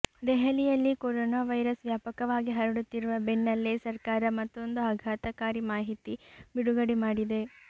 ದೆಹಲಿಯಲ್ಲಿ corona virus ವ್ಯಾಪಕವಾಗಿ ಹರಡುತ್ತಿರುವ ಬೆನ್ನಲ್ಲೇ ಸರ್ಕಾರ ಮತ್ತೊಂದು ಆಘಾತಕಾರಿ ಮಾಹಿತಿ ಬಿಡುಗಡೆ ಮಾಡಿದೆ